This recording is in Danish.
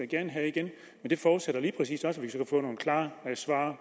gerne have igen men det forudsætter lige præcis også at vi kan få nogle klare svar